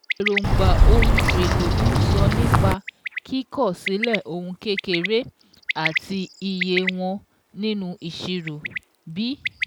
Èróńgbà ohun èlò' ń sọ nípa kíkọ̀ sílẹ̀ ohun kékeré àti iye won nínú ìṣirò. b